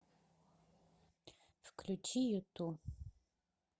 включи юту